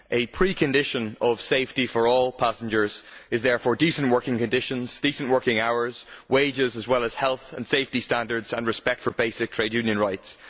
Among the preconditions for the safety for all passengers, therefore, are decent working conditions, decent working hours and wages, as well as health and safety standards, and respect for basic trade union rights.